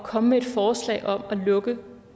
at komme med et forslag om at lukke